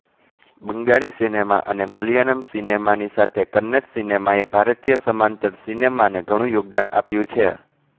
Bengali cinema અને મલયાલમ સિનેમાની સાથે કન્નડ સિનેમાએ ભારતીય સમાંતર સિનેમાને ઘણું યોગદાન આપ્યું છે